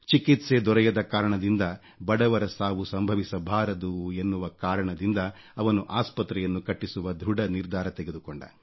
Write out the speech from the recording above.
ಚಿಕಿತ್ಸೆ ದೊರೆಯದ ಕಾರಣದಿಂದ ಬಡವರ ಸಾವು ಸಂಭವಿಸಬಾರದು ಎನ್ನುವ ಕಾರಣದಿಂದ ಅವನು ಆಸ್ಪತ್ರೆಯನ್ನು ಕಟ್ಟಿಸುವ ಧೃಢ ನಿರ್ಧಾರ ತೆಗೆದುಕೊಂಡ